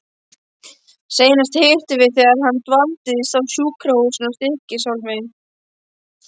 Seinast hittumst við þegar hann dvaldist á sjúkrahúsinu í Stykkishólmi.